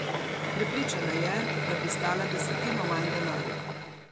Prepričana je, da bi stala desetino manj denarja.